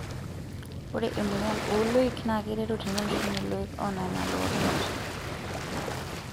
Ore emoyian ooloik naa keiteru teneishunye loik onana loorubat.